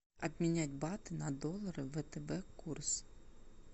обменять баты на доллары в втб курс